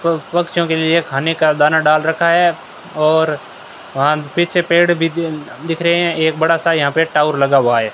प पक्षियों के लिए खाने का दाना डाल रखा है और वहां पीछे पेड़ भी दि दिख रहे हैं एक बड़ा सा यहां पे टाउर लगा हुआ है।